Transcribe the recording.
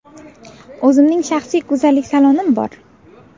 O‘zimning shaxsiy go‘zallik salonim bor.